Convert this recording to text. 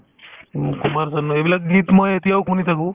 উম, কুমাৰ চানো এইবিলাক গীত মই এতিয়াও শুনি থাকো